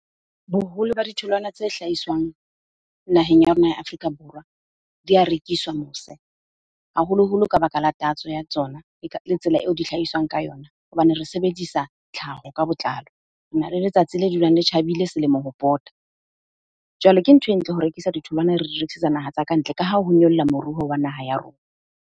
Boholo ba ditholwana tse hlahiswang naheng ya rona ya Afrika Borwa, di ya rekiswa mose. Haholoholo ka baka la tatso ya tsona le tsela eo di hlahiswang ka yona hobane re sebedisa tlhaho ka botlalo. Rena le letsatsi le dulang le tjhabile selemo ho pota. Jwale ke ntho e ntle ho rekisa ditholwana, re di rekisetsa naha tsa ka ntle ka ha ho nyolla moruo wa naha ya rona.